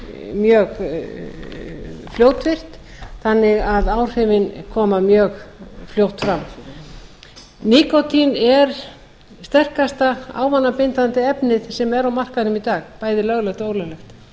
mjög fljótvirkt þannig að áhrifin koma mjög fljótt fram nikótín er sterkasta ávanabindandi efnið sem er á markaðnum í dag bæði löglegt og ólöglegt